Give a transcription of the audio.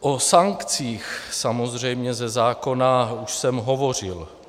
O sankcích samozřejmě ze zákona už jsem hovořil.